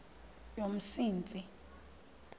yomsintsi